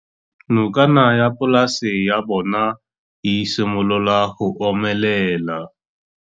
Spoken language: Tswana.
Nokana ya polase ya bona, e simolola go omelela.